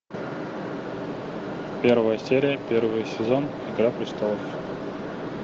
первая серия первый сезон игра престолов